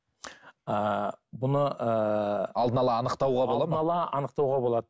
ыыы бұны ыыы алдын ала анықтауға болады ма алдын ала анықтауға болады